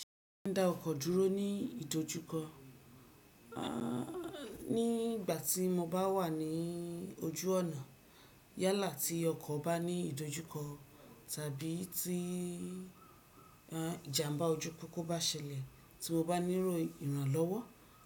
Ṣé ó dá ọkọ̀ dúró ní ìdojúkọ? Ní ìgbà tí mo bá wà ní ojú ọ̀nà yálà tí ọkọ̀ bá ní ìdojúkọ tàbí tí ìjàmbá ojú pópó bá ṣẹlẹ̀, tí mo bá níló ìrànlọ́wọ́